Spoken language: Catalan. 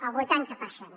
el vuitanta per cent